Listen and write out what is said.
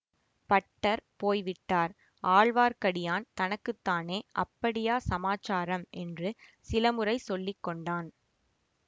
butter போய் விட்டார் ஆழ்வார்க்கடியான் தனக்கு தானே அப்படியா சமாசாரம் என்று சிலமுறை சொல்லி கொண்டான்